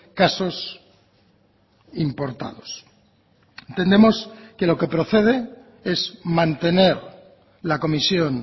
casos importados entendemos que lo que procede es mantener la comisión